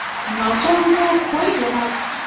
ମାଛ ମାନଙ୍କୁ ଖୋଇଛ ?